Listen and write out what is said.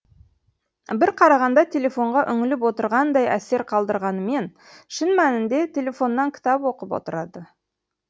бір қарағанда телефонға үңіліп отырғандай әсер қалдырғанымен шын мәнінде телефоннан кітап оқып отырады